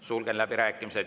Sulgen läbirääkimised.